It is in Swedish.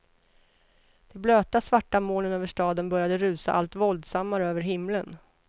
De blöta svarta molnen över staden började rusa allt våldsammare över himlen.